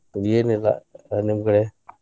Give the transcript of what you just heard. ಏನಿಲ್ಲಾ ನಿಮ್ಮ ಕಡೆ?